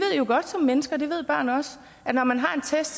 jo godt som mennesker og det ved børn også at når man har en test